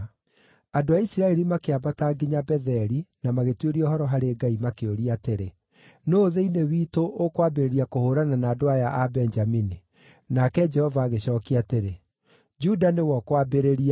Andũ a Isiraeli makĩambata nginya Betheli na magĩtuĩria ũhoro harĩ Ngai makĩũria atĩrĩ, “Nũũ thĩinĩ witũ ũkwambĩrĩria kũhũũrana na andũ aya a Benjamini?” Nake Jehova agĩcookia atĩrĩ, “Juda nĩwe ũkwambĩrĩria.”